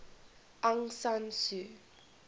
aung san suu